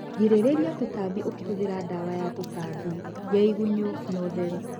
Girĩrĩria tũtambi ũkiĩhuthĩra dawa ya tũtambi ,ya igunyũ na ũtheru.